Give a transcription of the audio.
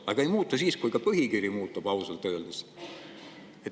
Aga ei muutu ka siis, kui põhikiri muutub, ausalt öeldes.